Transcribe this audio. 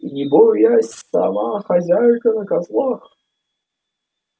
и не боясь сама хозяйка на козлах